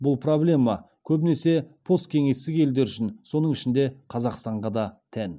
бұл проблеме көбінесе посткеңестік елдер үшін соның ішінде қазақстанға да тән